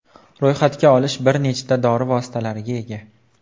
Ro‘yxatga olish bir nechta dori vositalariga ega.